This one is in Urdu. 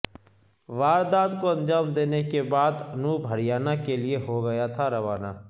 واردات کو انجام دینے کے بعد انوپ ہریانہ کیلئے ہوگیا تھا روانہ